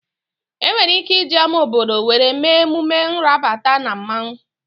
E nwere ike iji ama obodo were mee emume nrabata na mmanwu